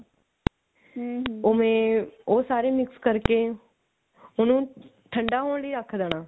ਓਵੇਂ ਉਹ ਸਾਰੇ mix ਕਰਕੇ ਉਹਨੂੰ ਠੰਡਾ ਹੋਣ ਲੈ ਰੱਖ ਦੇਣਾ